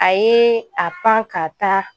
A ye a pan ka taa